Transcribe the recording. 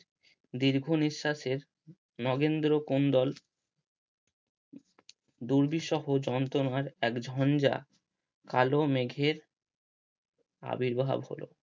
দীর্ঘ নিঃস্বাসে নগেন্দ্র কুন্দল দূর্বিসহ যন্তনার এক ঝঞ্জা কালো মেঘের আবির্ভাব হলো।